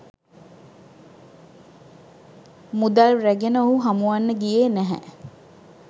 මුදල් රැගෙන ඔහු හමුවන්න ගියේ නැහැ